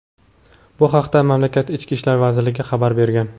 Bu haqda mamlakat Ichki ishlar vazirligi xabar bergan.